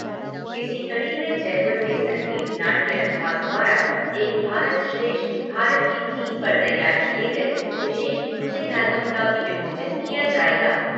इसी कड़ी में जयपुर के संगीत नाट्य अनुभाग द्वारा एक भारत श्रेष्ठ भारत की थीम पर तैयार किए गए विशेष म्यूज़िक एलबम का भी विमोचन किया जाएगा।